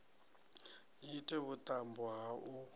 ni ite vhuṱambo ha u